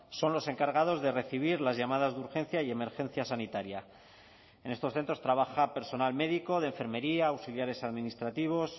son los encargados de recibir las llamadas de urgencia y emergencia sanitaria en estos centros trabaja personal médico de enfermería auxiliares administrativos